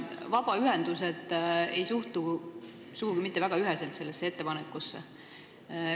Vabaühendused ei suhtu sugugi mitte väga üheselt sellesse ettepanekusse.